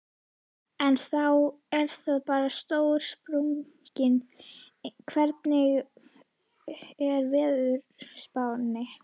En þá er það bara stóra spurningin, hvernig er veðurspáin?